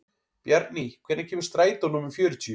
Bjarný, hvenær kemur strætó númer fjörutíu?